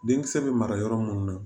Denkisɛ bɛ mara yɔrɔ mun na